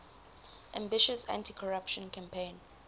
ambitious anticorruption campaign